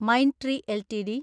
Mindtree LTD